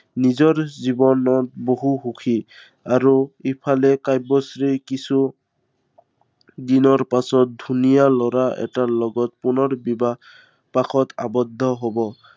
নিজৰ জীৱনত বহু সুখী। আৰু ইফালে কাব্যশ্ৰী কিছু দিনৰ পাছত ধুনীয়া লৰা এটাৰ লগত পুনৰ বিবাহ, পাশত আৱদ্ধ হব।